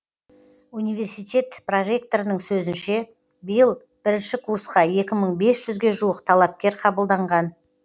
университет проректорының сөзінше биыл бірінші курсқа екі мың бес жүзге жуық талапкер қабылданған